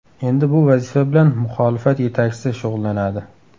Endi bu vazifa bilan muxolifat yetakchisi shug‘ullanadi.